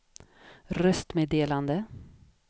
röstmeddelande